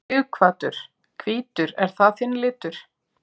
Sighvatur: Hvítur, er það þinn litur?